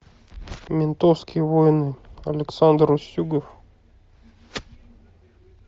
ментовские войны александр устюгов